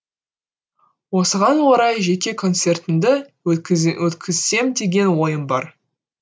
осыған орай жеке концертімді өткізсем деген ойым бар